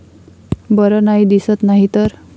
बर नाही दिसत नाहीतर!